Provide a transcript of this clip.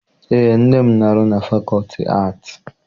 Eé, nne m na-arụ na fakọlti aatị.